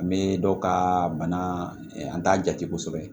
An bɛ dɔw ka bana an t'a jate kosɛbɛ